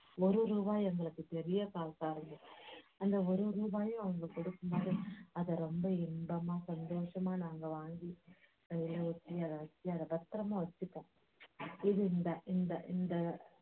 ஒரு ரூபா எங்களுக்குப் பெரிய காசாயிடும். அந்த ஒரு ரூபாய அவ்ட்ங்க கொடுக்கும்போது அதை ரொம்ப இன்பமா சந்தோஷமா நாங்க வாங்கி கையில வச்சி அதை வச்சி அதை பத்திரமா வச்சிப்போம் இந்த இந்த இந்த